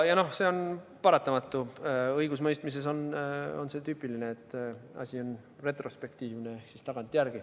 Ja see on paratamatu, õigusemõistmises on tüüpiline, et asi on retrospektiivne, uurimine toimub tagantjärele.